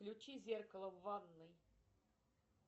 включи зеркало в ванной